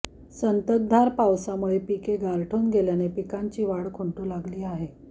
संततधार पावसामुळे पिके गारठून गेल्याने पिकांची वाढ खुंटू लागली आहे